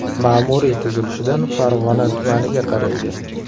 Ma’muriy tuzilishidan Farg‘ona tumaniga qaraydi.